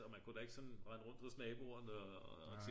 og man kunne da ikke sådan rende rundt hos naboerne